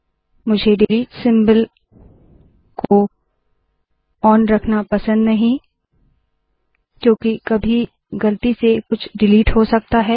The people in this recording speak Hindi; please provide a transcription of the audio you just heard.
मुझे डिलीट सिम्बल को ऑन रखना नहीं पसंद क्योंकि कभी गलती से कुछ डिलीट हो सकता है